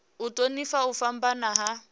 u thonifha u fhambana ha